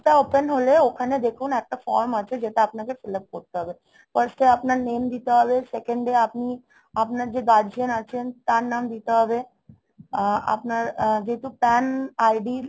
এটা open হলে ওখানে দেখুন একটা form আছে. যেটা আপনাকে fill up করতে হবে first এ আপনার name দিতে হবে, second এ আপনি আপনার যে guardian আছেন তার নাম দিতে হবে। আহ আপনার আ যেহেতু PAN IDএর